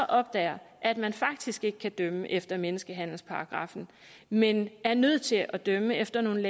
opdager at man faktisk ikke kan dømme efter menneskehandelsparagraffen men er nødt til at dømme efter nogle